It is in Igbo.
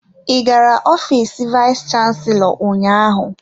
Ị gara ofiis vayis chansilọ ụnyaahụ?